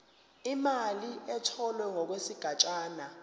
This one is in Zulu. imali etholwe ngokwesigatshana